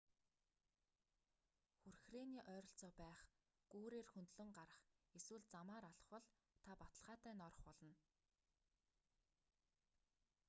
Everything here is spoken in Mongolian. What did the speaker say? хүрхрээний ойролцоо байх гүүрээр хөндлөн гарах эсвэл замаар алхвал та баталгаатай норох болно